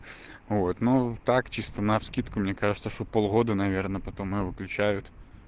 вот ну так чисто на вскидку мне кажется что полгода наверное потом её выключают